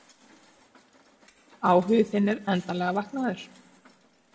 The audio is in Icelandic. Áhugi þinn er endanlega vaknaður.